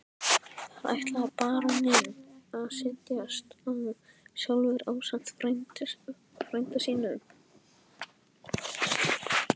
Þar ætlaði baróninn að setjast að sjálfur ásamt frænda sínum.